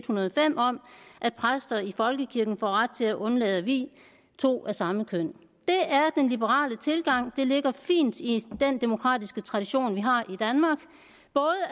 hundrede og fem om at præster i folkekirken får ret til at undlade at vie to af samme køn det er den liberale tilgang det ligger fint i den demokratiske tradition vi har i danmark